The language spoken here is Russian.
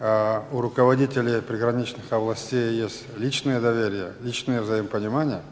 аа у руководителей приграничных областей есть личное доверия личное взаимопонимание